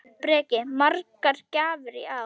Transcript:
Breki: Margar gjafir í ár?